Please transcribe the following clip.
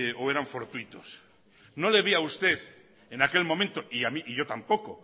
o eran fortuitos no le vi a usted en aquel momento y a yo tampoco